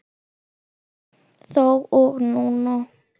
Þá og núna.